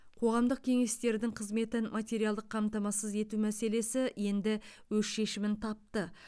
қоғамдық кеңестердің қызметін материалдық қамтамасыз ету мәселесі енді өз шешімін тапты